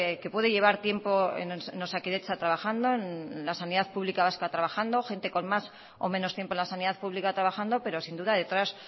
que puede llevar tiempo en osakidetza trabajando en la sanidad pública vasca trabajando gente con más o menos tiempo en la sanidad pública trabajando pero sin duda detrás